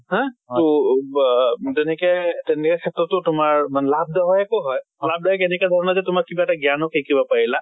হা তʼ বা তেনেকে তেনেকে ক্ষেত্ৰতো তোমাৰ মানে লাভ দায়কো হয়। লাভ দায়কো এনেকা ধৰণৰ যে তোমাক কিবা এটা জ্ঞান শিকিব পাৰিলা।